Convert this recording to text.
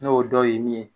N'o dɔ ye min ye